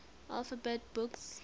alphabet books